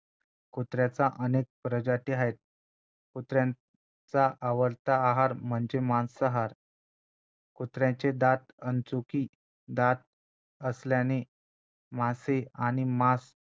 कुत्र्यांच्या अनेक प्रजाती आहेत कुत्र्यांचा आवडता आहार म्हणजे मांसाहार कुत्र्याचे दात अणचुकी दात असल्याने मासे आणि मांस